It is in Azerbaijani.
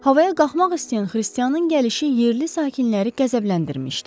Havaya qalxmaq istəyən xristianın gəlişi yerli sakinləri qəzəbləndirmişdi.